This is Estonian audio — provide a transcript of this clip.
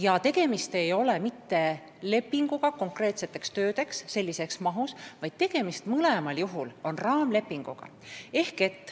Ja tegemist ei ole mitte lepinguga konkreetseteks töödeks sellises mahus, tegemist on mõlemal juhul raamlepinguga.